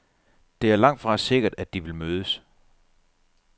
Det er langtfra sikkert, at de vil mødes.